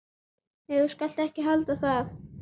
Nei, þú skalt ekki halda það!